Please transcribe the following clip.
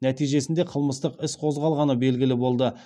нәтижесінде қылмыстық іс қозғалғаны белгілі болды